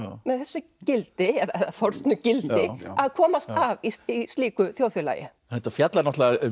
með þessi gildi eða fornu gildi að komast af í slíku þjóðfélagi þetta fjallar náttúrulega um